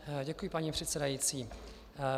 Děkuji, paní předsedající.